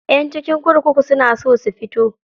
Ƴan cikin kurkuku suna so su fito.